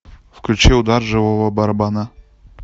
включи удар живого барабана